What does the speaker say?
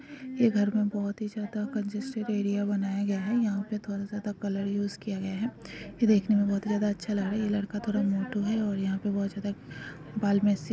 ये घर में बहुत ही ज्यादा कंजस्टेड एरिया बनाया गया है यहां पर बहुत ज्यादा कलर यूज़ किया गया है यह देखने में बहुत ज्यादा अच्छा लग रहा है जे लड़का थोड़ा मोटू है और यहां पर बहुत ज्यादा बाल मेसी --